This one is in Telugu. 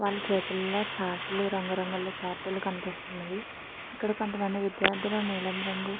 వాళ్ళ చేతుల్లో చార్ట్ రంగు రంగు చార్ట్ కనిపిస్తున్నవి. ఇక్కడ కొంతమంది విద్యార్థులు నీలం రంగు--